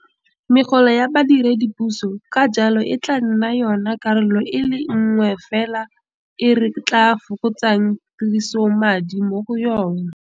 Megolo ya badiredipuso ka jalo e tla nna yona karolo e le nngwe fela e re tla fokotsang tirisomadi mo go yona.